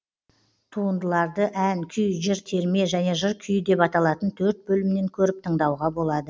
туындыларды ән күй жыр терме және жыр күйі деп аталатын төрт бөлімнен көріп тыңдауға болады